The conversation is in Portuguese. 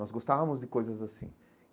Nós gostávamos de coisas assim.